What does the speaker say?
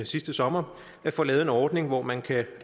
sidste sommer at få lavet en ordning hvor man kan